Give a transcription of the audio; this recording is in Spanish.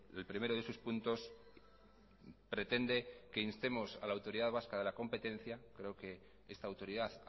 el primero de sus puntos pretende que instemos a la autoridad vasca de la competencia creo que esta autoridad